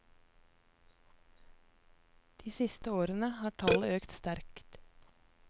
De siste årene har tallet økt sterkt.